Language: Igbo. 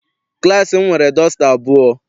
Klassi m nwere dọsta abụọ.